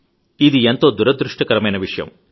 ఇది ఎంతో దురదృష్టకరమైన విషయం